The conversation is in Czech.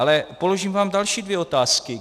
Ale položím vám další dvě otázky.